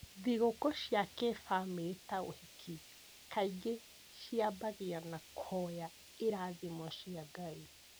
Thigũkũ cia kĩbamĩrĩ ta ũhiki kaingĩ ciambagia na kũhoya irathimo cia Ngai.